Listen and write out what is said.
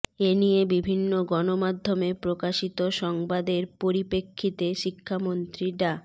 এ নিয়ে বিভিন্ন গণমাধ্যমে প্রকাশিত সংবাদের পরিপ্রেক্ষিতে শিক্ষামন্ত্রী ডা